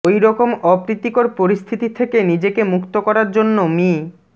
ওই রকম অপ্রীতিকর পরিস্থিতি থেকে নিজেকে মুক্ত করার জন্য মি